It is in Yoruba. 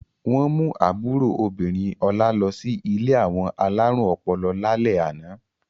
Wọ́n mú àbúrò obìnrin Ọlá lọ sí ilé àwọn alárùn ọpọlọ lálẹ́ àná.